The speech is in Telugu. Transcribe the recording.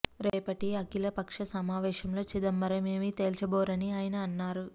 రేపటి అఖిల పక్ష సమావేశంలో చిదంబరం ఏమీ తేల్చబోరని ఆయన అన్నారు